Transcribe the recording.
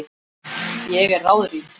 Ég er ráðrík.